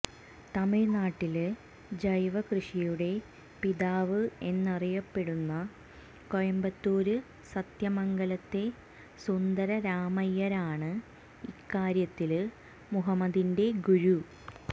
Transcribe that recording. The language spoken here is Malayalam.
തമിഴ്നാട്ടില് ജൈവകൃഷിയുടെ പിതാവ് എന്നറിയപ്പെടുന്ന കോയമ്പത്തൂര് സത്യമംഗലത്തെ സുന്ദരരാമയ്യരാണ് ഇക്കാര്യത്തില് മുഹമ്മദിന്റെ ഗുരു